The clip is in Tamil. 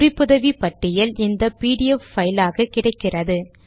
குறிப்புதவி பட்டியல் இந்த பிடிஎஃப் பைல் ஆக கிடைக்கிறது